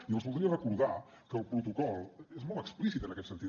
i els voldria recordar que el protocol és molt explícit en aquest sentit